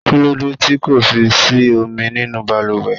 Kí lóde tì kò fi sí omi nínú baluwe?